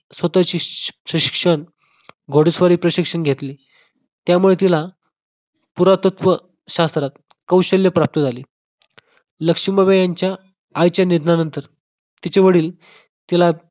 स्वतःचे शिकशिक्षण घोडसवारी प्रशिक्षण घेतले त्यामुळे तिला पुरातत्व शास्त्रात कौशल्य प्राप्त झाले लक्ष्मीबाई यांच्या आईच्या निधनानंतर तिचे वडील तिला